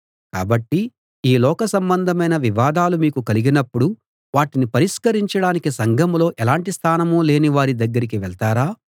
కాబట్టి ఈ లోక సంబంధమైన వివాదాలు మీకు కలిగినపుడు వాటిని పరిష్కరించడానికి సంఘంలో ఎలాటి స్థానం లేని వారి దగ్గరికి వెళ్తారా